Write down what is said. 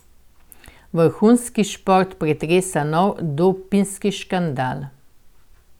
Vrhunski šport pretresa nov dopinški škandal.